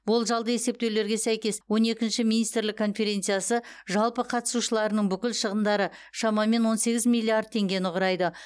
болжалды есептеулерге сәйкес он екінші министрлік конференциясы жалпы қатысушыларының бүкіл шығындары шамамен он сегіз миллиард теңгені құрайды